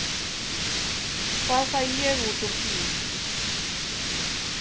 Hvað fæ ég út úr því?